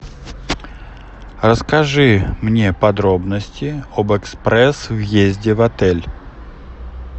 расскажи мне подробности об экспресс въезде в отель